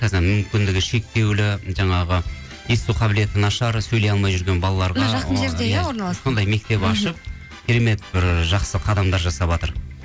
мүмкіндігі шектеулі жаңағы есту қабілеті нашар сөйлей алмай жүрген балаларға сондай мектеп ашып керемет бір жақсы қадамдар жасаватыр